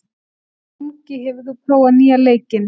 Angi, hefur þú prófað nýja leikinn?